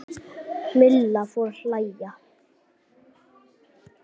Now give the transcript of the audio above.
Milla fór að hlæja.